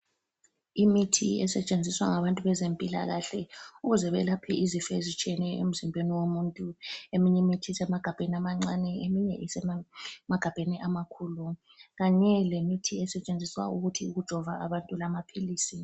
Imithi esetshenziswa ngabantu bezempilakahle ukuze belaphe izifo ezitshiyeneyo emzimbeni womuntu, eminye imithi isemagabheni amancane ,eminye isemagabheni amakhulu, Kanye lemithi esetshenziswa ukujova abantu lamaphilisi